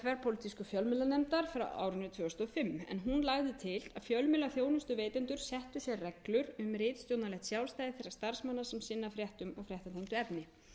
þverpólitísku fjölmiðlanefndar frá árinu tvö þúsund og fimm en hún lagði til að fjölmiðlaþjónustuveitendur settu sér reglur um ritstjórnarlegt sjálfstæði þeirra starfsmanna sem sinna fréttum og fréttatengdu efni